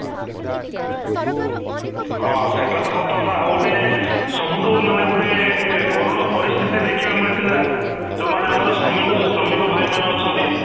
ହଁ, ସେଟା ତ ସତ କଥା ଆଉ ଗୋଟେ ସବୁଠୁ ମାନେ ଗୋଟେ ଏଁ କରଣ ପରିସ୍ଥିତି ଦେଖିବାକୁ ମିଳିଥିଲା ଯୋଉ ମାନେ ଆମର ଶ୍ରମିକ ଭାଇ ମାନେ ଅଛନ୍ତି